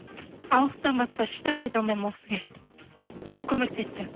алғыстан басқа ешнәрсе айта алмаймын ол кісіге көп көмектесті